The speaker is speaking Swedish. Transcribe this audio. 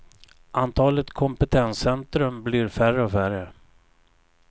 Antalet kompetenscentrum blir färre och färre.